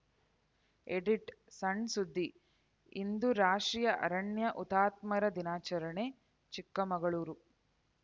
edit ಸಣ್‌ ಸುದ್ದಿಇಂದು ರಾಷ್ಟ್ರೀಯ ಅರಣ್ಯ ಹುತಾತ್ಮರ ದಿನಾಚರಣೆ ಚಿಕ್ಕಮಗಳೂರು